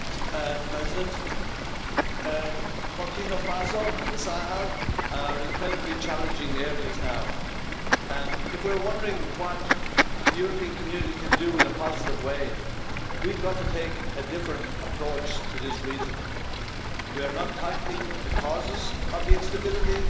Mr President, Burkina Faso and Sahel are incredibly challenging areas now, and if we were wondering what the European community can do in a positive way, we've got to take a different approach to this region. We are not tackling the causes of the instability,